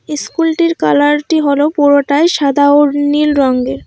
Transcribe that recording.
ইস্কুলটির কালারটি হল পুরোটাই সাদা ও নীল রঙ্গের।